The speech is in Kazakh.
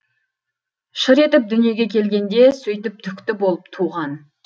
шыр етіп дүниеге келгенде сөйтіп түкті болып туған